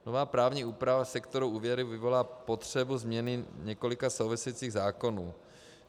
Nová právní úprava sektoru úvěry vyvolá potřebu změny několika souvisejících zákonů.